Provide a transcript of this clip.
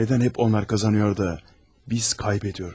Nədən hep onlar qazanıyor da biz kaybediyoruz?